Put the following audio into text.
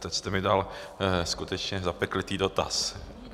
Teď jste mi dal skutečně zapeklitý dotaz.